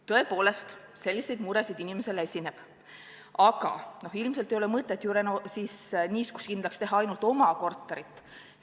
Tõepoolest, selliseid muresid inimesel esineb, aga ilmselt ei ole mõtet niiskuskindlaks teha ainult oma korterit.